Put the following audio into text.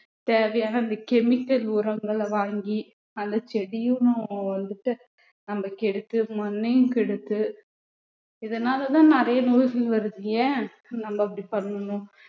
தேவையான அந்த chemical உரங்களை வாங்கி அந்த செடியும் வந்துட்டு நம்ம கெடுத்து மண்ணையும் கெடுத்து இதனாலதான் நிறைய நோய்கள் வருது ஏன் நம்ம அப்படி பண்ணணும்